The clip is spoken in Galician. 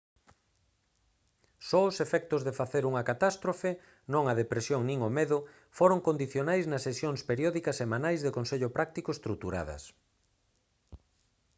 só os efectos de facer unha catástrofe non a depresión nin o medo foron condicionais nas sesións periódicas semanais de consello práctico estruturadas